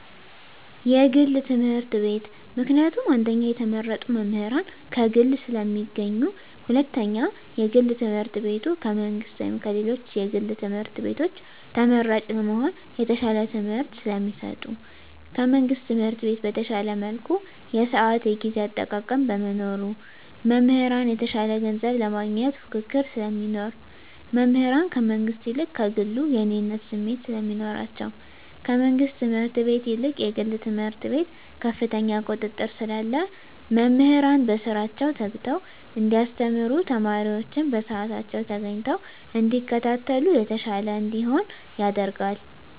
የግል ትምህርት ቤት። ምክንያቱም አንደኛ የተመረጡ መምህራን ከግል ስለሚገኙ ሁለተኛ የግል ትምህርት ቤቱ ከመንግስት ወይም ከሌሎች የግል ትምህርት ቤቶች ተመራጭ ለመሆን የተሻለ ትምህርት ስለሚሰጡ። ከመንግስት ትምህርት ቤት በተሻለ መልኩ የስአት የጊዜ አጠቃቀም በመኖሩ። መምህራን የተሻለ ገንዘብ ለማግኘት ፉክክር ስለሚኖር። መምህራን ከመንግስት ይልቅ ከግሉ የእኔነት ስሜት ስለሚኖራቸዉ። ከመንግስት ትምህርት ቤት ይልቅ የግል ትምህርት ቤት ከፍተኛ ቁጥጥር ስላለ መምህራን በስራቸዉ ተግተዉ እንዲያስተምሩ ተማሪወችም በስአታቸዉ ተገኝተዉ እንዲከታተሉ የተሻለ እንዲሆን ያደርጋል።